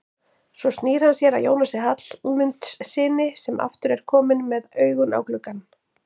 Svo snýr hann sér að Jónasi Hallmundssyni sem aftur er kominn með augun á gluggann.